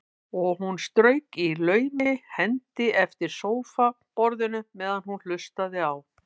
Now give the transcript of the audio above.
Og hún strauk í laumi hendi eftir sófaborðinu meðan hún hlustaði á